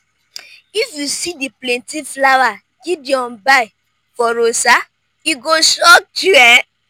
if you see the plenty flower gideon buy for rosa e go shock you um